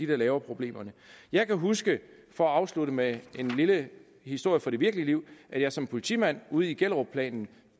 der laver problemerne jeg kan huske for at afslutte med en lille historie fra det virkelige liv at jeg som politimand ude i gellerupplanen